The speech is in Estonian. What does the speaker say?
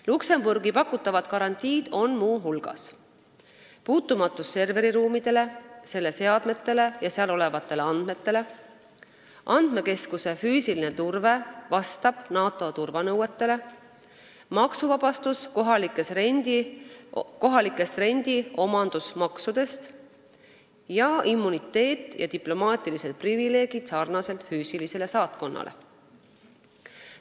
Luksemburgi pakutavat garantiid on muu hulgas serveriruumide, seal olevate seadmete ja andmete puutumatus, andmekeskuse füüsilise turbe vastavus NATO turvanõuetele, maksuvabastus kohalikest rendi- ja omandimaksudest ning samasugused immuniteet ja diplomaatilised privileegid, nagu on füüsilisel saatkonnal.